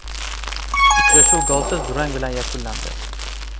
Uchrashuv golsiz durang bilan yakunlandi.